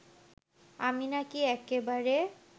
আমি নাকি এক্কেবারে